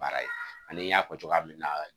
Baara ye ni n y'a fɔ cogoya min na